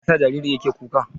Me yasa jaririn yake kuka?